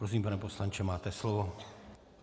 Prosím, pane poslanče, máte slovo.